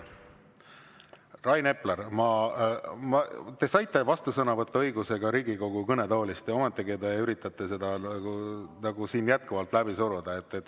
Rain Epler, te saite vastusõnavõtu õiguse ka Riigikogu kõnetoolist, ometigi te üritate jätkuvalt läbi suruda.